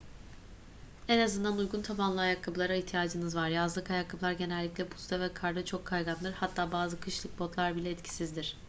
en azından uygun tabanlı ayakkabılara ihtiyacınız var yazlık ayakkabılar genellikle buzda ve karda çok kaygandır hatta bazı kışlık botlar bile etkisizdir